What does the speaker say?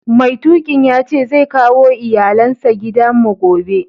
Mai tukin yace zai kawo iyallen sa gidan mu gobe.